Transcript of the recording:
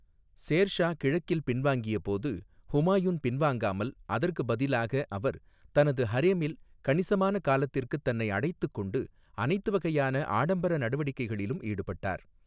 சேர் ஷா கிழக்கிற்கு பின்வாங்கியபோது ஹுமாயூன் பின்வாங்காமல், அதற்கு பதிலாக அவர்' 'தனது ஹரேமில் கணிசமான காலத்திற்குத் தன்னை அடைத்துக்கொண்டு, அனைத்து வகையான ஆடம்பர நடவடிக்கைகளிலும் ஈடுபட்டார்.